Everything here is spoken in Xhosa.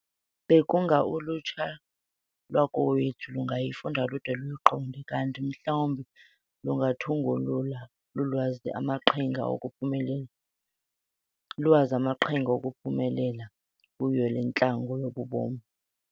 Bekunga ulutsha lwakowethu lungayifunda lude luyiqonde, kanti mhlawumbi lungathungulula luwazi amaqhinga okuphumelela kuyo le ntlango yobu bomi.